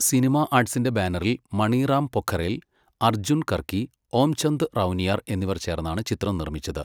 Cinema ആർട്സിന്റെ ബാനറിൽ മണി റാം പൊഖറെൽ, അർജുൻ കർക്കി, ഓം ചന്ദ് റൌനിയർ എന്നിവർ ചേർന്നാണ് ചിത്രം നിർമ്മിച്ചത്.